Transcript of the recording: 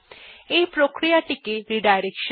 এই প্রক্রিয়া টিকে রিডাইরেকশন বা পুনর্নির্দেশনা বলা হয়